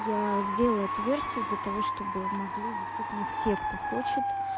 я сделаю эту версию для того чтобы могли действительно все кто хочет